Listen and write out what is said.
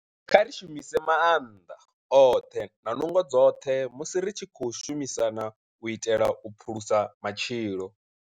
Kha ri shumise maanḓa oṱhe na nungo dzoṱhe musi ri tshi khou shumisana u itela u phulusa matshilo.